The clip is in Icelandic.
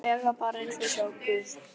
lega bara eins og að sjá guð.